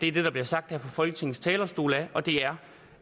er det der bliver sagt her fra folketingets talerstol og det er